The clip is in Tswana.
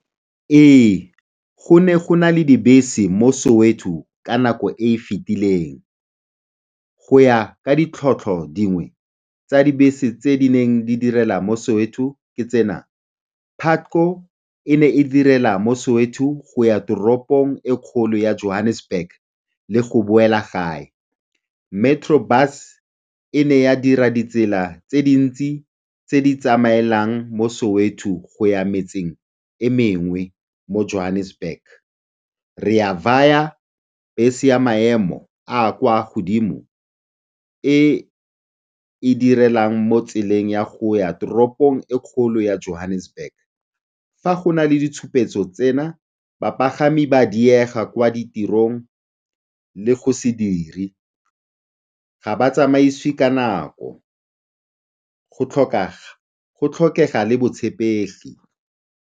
Ee, go ne go na le dibese mo Soweto ka nako e e fetileng. Go ya ka ditlhotlho dingwe tsa dibese tse di neng di direla mo Soweto ke tsena, Patco e ne e direla mo soweto go ya toropong e kgolo ya Johannesburg le go boela gae. Metro Bus e ne ya dira ditsela tse dintsi tse di tsamaelang mo Soweto go ya metseng e mengwe mo Johannesburg. Re A Vaya, bese ya maemo a a kwa godimo e e direlang mo tseleng ya go ya toropong e kgolo ya Johannesburg. Fa go na le ditshupetso tsena, bapagami ba a diega kwa ditirong le go se dire, ga ba tsamaisiwe ka nako, go tlhokega le botshepegi.